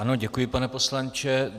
Ano, děkuji, pane poslanče.